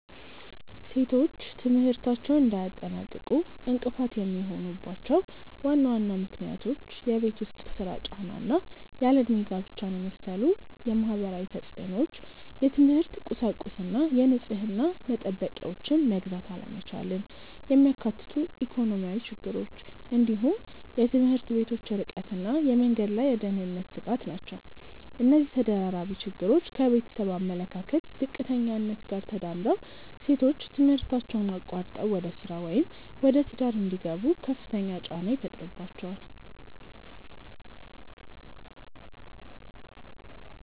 ሴቶች ትምህርታቸውን እንዳያጠናቅቁ እንቅፋት የሚሆኑባቸው ዋና ዋና ምክንያቶች የቤት ውስጥ ሥራ ጫና እና ያለ ዕድሜ ጋብቻን የመሰሉ ማህበራዊ ተፅዕኖዎች፣ የትምህርት ቁሳቁስና የንጽህና መጠበቂያዎችን መግዛት አለመቻልን የሚያካትቱ ኢኮኖሚያዊ ችግሮች፣ እንዲሁም የትምህርት ቤቶች ርቀትና የመንገድ ላይ የደህንነት ስጋት ናቸው። እነዚህ ተደራራቢ ችግሮች ከቤተሰብ አመለካከት ዝቅተኛነት ጋር ተዳምረው ሴቶች ትምህርታቸውን አቋርጠው ወደ ሥራ ወይም ወደ ትዳር እንዲገቡ ከፍተኛ ጫና ይፈጥሩባቸዋል።